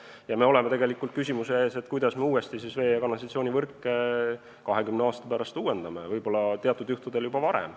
Ja me oleme tegelikult küsimuse ees, et kuidas me siis 20 aasta pärast uuesti vee- ja kanalisatsioonivõrke uuendame, võib-olla teatud juhtudel juba varem.